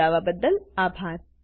જોડાવા બદલ આભાર